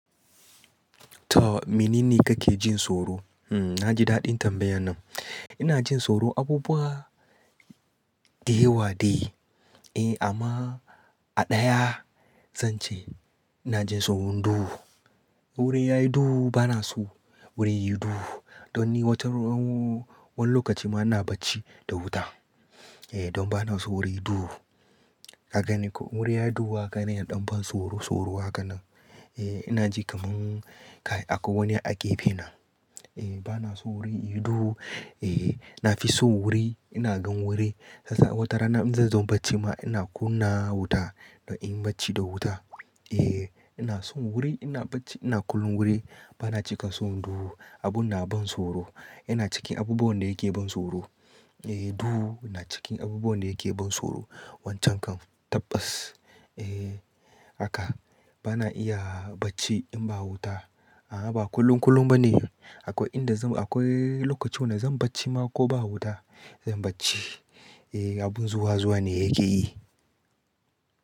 To menene kake jin tsoro? Hmm, na ji daɗin tambayan nan. Ina jin tsoro abubuwa da yawa dai. Eh amma a ɗaya zan ce ina jin tsoron duhu. Wuri yayi duhu bana so wuri yayi duhu. Don ni wata ran-- wani lokaci ma ina bacci da wuta. Eh don bana so wuri yayi duhu. Ka gani ko wuri yayi duhu haka ne ɗan ban tsoro tsoro haka nan. Eh ina ji kamar akwai wani a gefe na. Eh bana so wuri yayi duhu. Eh, na fi son wuri, ina gan wuri. Sasa wata rana in zan zo bacci ma ina kunna wuta don in bacci da wuta. Eh ina son wuri, ina bacci, ina kullum wuri. Bana cika son duhu. Abun na ban tsoro. Yana cikin abubuwan da yake ban tsoro. Eh duhu na cikin abubuwan da yake ban tsoro. Wancan kam tabbas. Eh haka bana iya bacci in ba wuta. A'a ba kullun kullum ba ne. Akwai inda zan-- akwai lokacin wanda zan bacci ma ko ba wuta. Zan bacci. Eh abun zuwa zuwa ne yake yi.